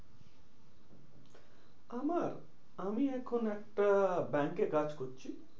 আমার? আমি এখন একটা ব্যাঙ্কে কাজ করছি।